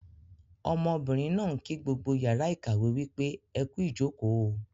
Ọmọbìnrin náà ń kí gbogbo yàrá ìkàwé wípé "ẹkú ìjòkó o"